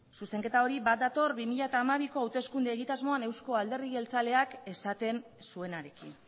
zuzenketa hori bat dator bi mila hamabiko hauteskunde egitasmoan euzko alderdi jeltzaleak esaten zuenarekin